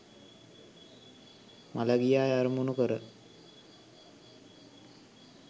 මළගිය අය අරමුණු කර